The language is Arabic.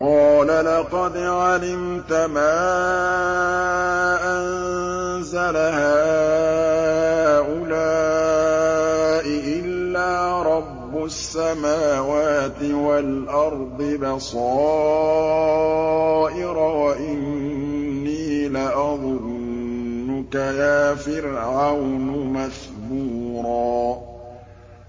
قَالَ لَقَدْ عَلِمْتَ مَا أَنزَلَ هَٰؤُلَاءِ إِلَّا رَبُّ السَّمَاوَاتِ وَالْأَرْضِ بَصَائِرَ وَإِنِّي لَأَظُنُّكَ يَا فِرْعَوْنُ مَثْبُورًا